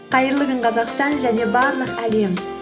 қайырлы күн қазақстан және барлық әлем